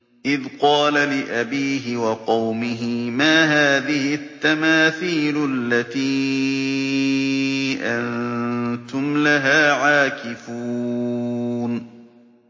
إِذْ قَالَ لِأَبِيهِ وَقَوْمِهِ مَا هَٰذِهِ التَّمَاثِيلُ الَّتِي أَنتُمْ لَهَا عَاكِفُونَ